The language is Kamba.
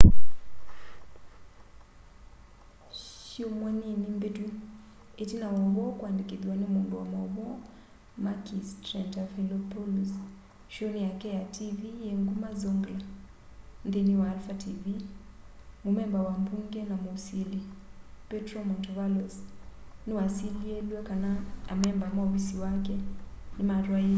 syumwa nini mbitu itina wa uvoo kuandikithwa ni mundu wa mauvoo makis triantafylopoulos showni yake ya tv yi nguma zoungla nthini wa alpha tv mumemba wa mbunge na musili petros mantovalos niwasilielwe kana amemba ma ufisi wake nimatwaiisye ulusani na ungei muvatane ni silikali